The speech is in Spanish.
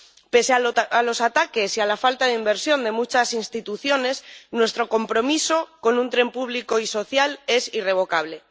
Pese a los ataques y a la falta de inversión de muchas instituciones, nuestro compromiso con un tren público y social es irrevocable.